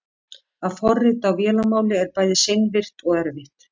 að forrita á vélarmáli er bæði seinvirkt og erfitt